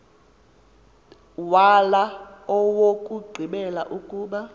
wala owokugqibela ukuba